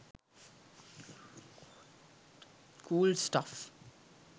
cool stuff